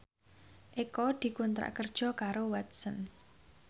Eko dikontrak kerja karo Watson